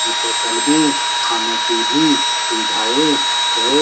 इस होटल में खाने की भी सुविधाएं है।